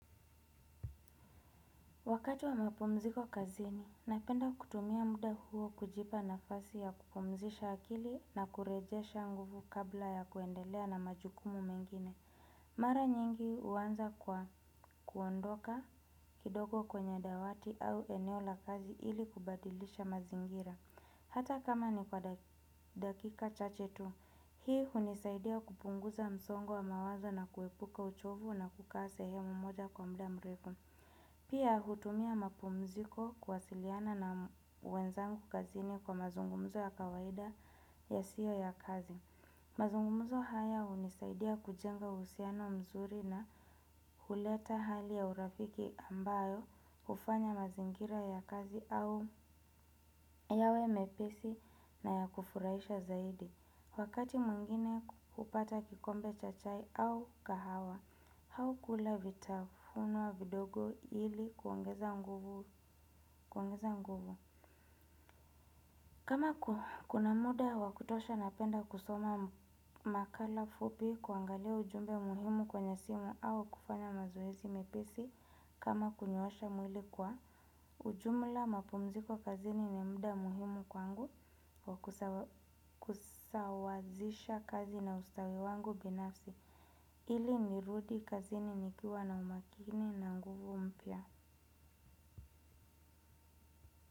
Wakati wa mapumziko kazini, napenda kutumia muda huo kujipa nafasi ya kupumzisha akili na kurejesha nguvu kabla ya kuendelea na majukumu mengine. Mara nyingi huanza kwa kuondoka kidogo kwenye dawati au eneo la kazi ili kubadilisha mazingira. Hata kama ni kwa dakika chache tu, hii hunisaidia kupunguza msongo wa mawaza na kuepuka uchovu na kukaa sehemu moja kwa mda mrefu. Pia hutumia mapumziko kuwasiliana na wenzangu kazini kwa mazungumzo ya kawaida yasiyo ya kazi. Mazungumzo haya hunisaidia kujenga uhusiano mzuri na huleta hali ya urafiki ambayo hufanya mazingira ya kazi au yawe mepesi na ya kufuraisha zaidi. Wakati mwingine hupata kikombe cha chai au kahawa, au kula vitafunwa vidogo ili kuongeza nguvu. Kama kuna muda wa kutosha napenda kusoma makala fupi kuangalia ujumbe muhimu kwenye simu au kufanya mazoezi mepesi kama kunyoosha mwili kwa. Ujumla mapumziko kazini ni mda muhimu kwangu kwa kusawazisha kazi na ustawi wangu binafsi. Ili nirudi kazini nikiwa na umakini na nguvu mpya.